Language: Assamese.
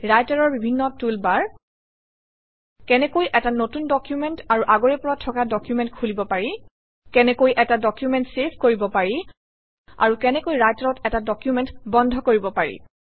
ৰাইটাৰৰ বিভিন্ন টুল বাৰ কেনেকৈ এটা নতুন ডকুমেণ্ট আৰু আগৰে পৰা থকা ডকুমেণ্ট খুলিব পাৰি কেনেকৈ এটা ডকুমেণ্ট চেভ কৰিব পাৰি আৰু কেনেকৈ ৰাইটাৰত এটা ডকুমেণ্ট বন্ধ কৰিব পাৰি